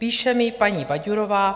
Píše mi paní Baďurová.